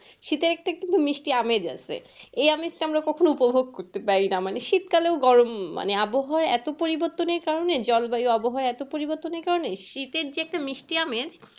শীতের একটা একটু মিষ্টি আমেজ আছে এই আমেজটা আমরা কখনো উপভোগ করতে পারিনা মানে শীত কালে গরম মানে আবহাওয়া এতো পরিবর্তনের কারণে জল বায়ু আবহাওয়া এতো পরিবর্তনের কারণে শীতের যে একটা মিষ্টি আমেজ